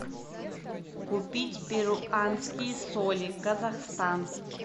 купить перуанские соли казахстан